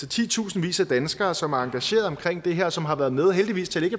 titusindvis af danskere som er engagerede i det her og som har været med heldigvis til